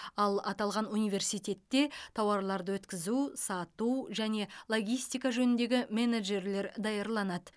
ал аталған университетте тауарларды өткізу сату және логистика жөніндегі менеджерлер даярланады